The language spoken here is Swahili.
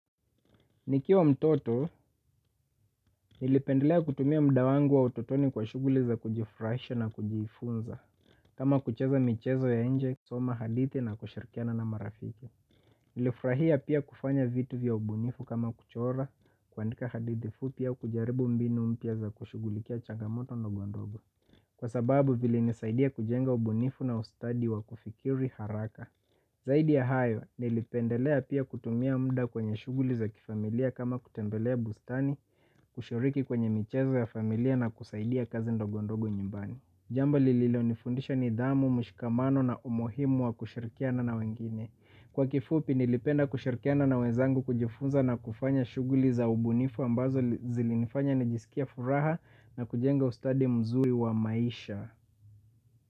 Nikiwa mtoto, nilipendelea kutumia mda wangu wa utotoni kwa shuguli za kujifrahisha na kujifunza. Kama kucheza michezo ya enje, soma hadithi na kushirikiana na marafiki. Nilifrahia pia kufanya vitu vya ubunifu kama kuchora. Kuandika hadithi fupi au kujaribu mbinu mpia za kushugulikia changamoto na ndogondogo. Kwa sababu vile nisaidia kujenga ubunifu na ustadi wa kufikiri haraka. Zaidi ya hayo nilipendelea pia kutumia mda kwenye shuguli za kifamilia kama kutembelea bustani kushiriki kwenye michezo ya familia na kusaidia kazi ndogondogo nyumbani. Jambo lililonifundisha ni damu, mshikamano na umuhimu wa kushirikiana na wengine. Kwa kifupi nilipenda kushirikiana na wezangu kujifunza na kufanya shuguli za ubunifu ambazo zilinifanya nijisikie furaha na kujenga ustadi mzuri wa maisha.